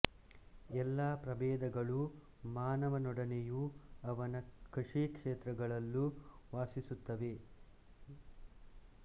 ಎಲ್ಲ ಪ್ರಭೇದಗಳೂ ಮಾನವನೊಡನೆಯೂ ಅವನ ಕೃಷಿಕ್ಷೇತ್ರಗಳ್ಲೂ ವಾಸಿಸುತ್ತವೆ ರ್ಯಾ ನಾರ್ವೀಜಿಕಸ್ ಪ್ರಭೇದ ತೋಟ ಹೊಲಗಳಲ್ಲೂ ಇರುವುವು